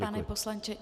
Pane poslanče...